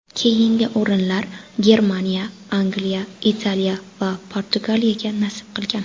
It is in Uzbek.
Keyingi o‘rinlar Germaniya, Angliya, Italiya va Portugaliyaga nasib qilgan.